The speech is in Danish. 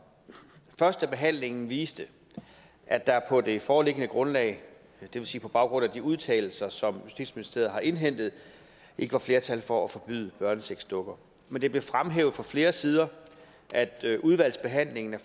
førstebehandlingen viste at der på det foreliggende grundlag det vil sige på baggrund af de udtalelser som justitsministeriet har indhentet ikke var flertal for at forbyde børnesexdukker men det blev fremhævet fra flere sider at udvalgsbehandlingen af